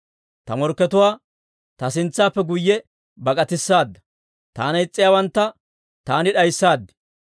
Ta morkkatuwaa ta sintsaappe guyye bak'atissaada; taana is's'iyaawantta taani d'ayssaad.